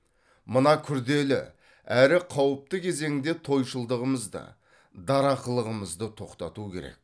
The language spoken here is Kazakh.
мына күрделі әрі қауіпті кезеңде тойшылдығымызды дарақылығымызды тоқтату керек